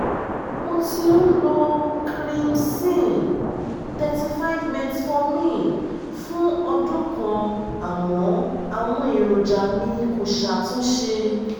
mo ti ń lo krimson-35metformin fún ọdún kan àmọ́ àwọn èròjà mi kò ṣàtúnṣe